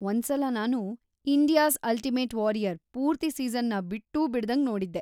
ಒಂದ್ಸಲ ನಾನು India's ultimate warrior ಪೂರ್ತಿ ಸೀಸನ್‌ನ ಬಿಟ್ಟೂ ಬಿಡ್ದಂಗ್ ನೋಡಿದ್ದೆ.